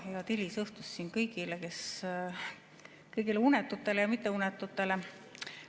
Head hilisõhtut kõigile unetutele ja mitteunetutele!